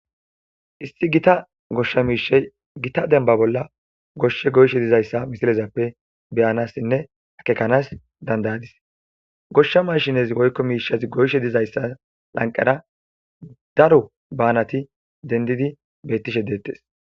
Issi Gita gosha mishay gita denba bolla goshe goyishe dizaysa ha misilepe beyansinne akekans dan'adis gosha machines woyko mishati goyishe dizaysa lanqera daro banati dendidi betishe detese